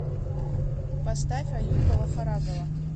поставь аюба вахарагова